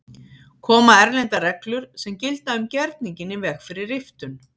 Koma erlendar reglur sem gilda um gerninginn í veg fyrir riftun?